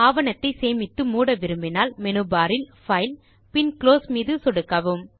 ஆவணத்தை சேமித்து மூட விரும்பினால் மேனு பார் இல் பைல் பின் குளோஸ் தேர்வில் சொடுக்கவும்